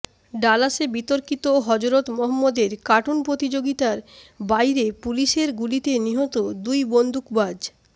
ডালাসে বিতর্কিত হজরত মহম্মদের কার্টুন প্রতিযোগিতার বাইরে পুলিসের গুলিতে নিহত দুই বন্দুকবাজ